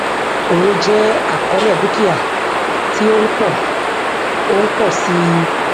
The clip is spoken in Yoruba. owó jẹ àkọọlẹ dúkìá tí ó ń pọ ó ń pọ sí i